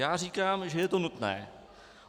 Já říkám, že je to nutné.